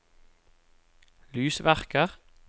lysverker